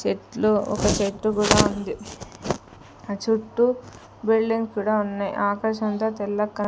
చెట్లు ఒక చెట్టు కూడా ఉంది ఆ చుట్టూ బిల్డింగ్ కూడా ఉన్నాయి ఆకాశం అంతా తెల్లగా కనిపి.